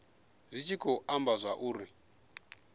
zwi tshi khou amba zwauri